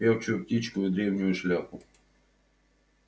певчую птичку и древнюю шляпу